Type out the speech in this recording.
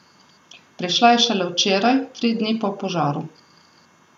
Prišla je šele včeraj, tri dni po požaru.